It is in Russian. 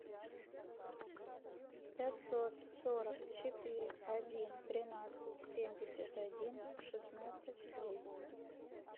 пятьсот сорок четыре один тринадцать семьдесят один шестнадцать двести